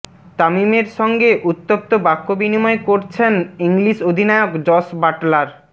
তামিমের সঙ্গে উত্তপ্ত বাক্য বিনিময় করছেন ইংলিশ অধিনায়ক জস বাটলার